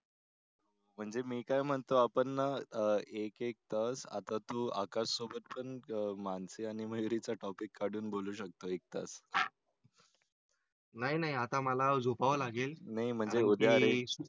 म्हणजे मी काय म्हणतो आपण आह एक एक तास आता तू आकाश सोबत पण मानसी आणि मयुरीचा टॉपिक काढून बोलू शकतो तास नाही नाही आता मला झोपावं लागेल.